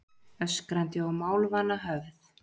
Öskrandi og málvana höfð